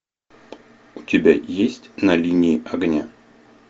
у тебя есть на линии огня